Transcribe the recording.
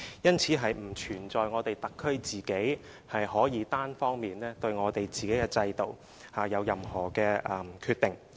因此，並不存在特區可以單方面對自己的制度作任何決定。